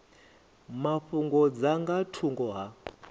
mafhungo dza nga thungo ha